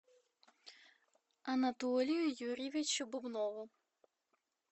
анатолию юрьевичу бубнову